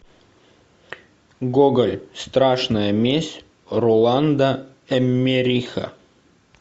гоголь страшная месть роланда эммериха